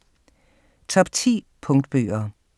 Top 10 Punktbøger